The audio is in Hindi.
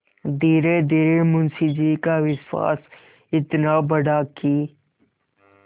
धीरेधीरे मुंशी जी का विश्वास इतना बढ़ा कि